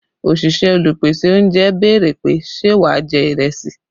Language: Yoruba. Òṣìṣẹ́ Olùpèsè oúnjẹ béèrè pé ṣe wà jẹ́ ìrẹsì?